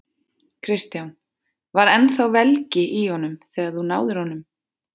Kristján: Var ennþá velgi í honum þegar þú náðir honum?